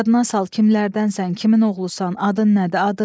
Yadına sal kimlərdənsən, kimin oğlusan, adın nədir, adın?